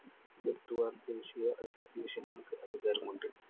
വരുത്തുവാന്‍ ദേശിയ association കള്‍ക്ക് അധികാരമുണ്ട്‌.